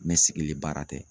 sigili baara tɛ.